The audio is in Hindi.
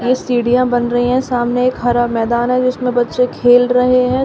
सीढ़ियां बन रही हैं सामने एक हरा मैदान है जिसमें बच्चे खेल रहे है।